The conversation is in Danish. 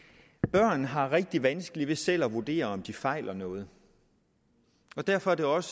børn har rigtig vanskeligt ved selv at vurdere om de fejler noget og derfor er det også